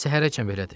Səhərəcən belədir.